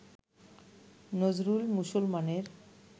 নজরুল মুসলমানের